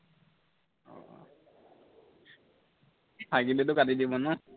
থাকিলেতো কাটি দিব ন